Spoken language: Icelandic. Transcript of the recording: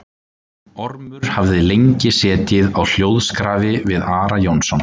Ormur hafði lengi setið á hljóðskrafi við Ara Jónsson.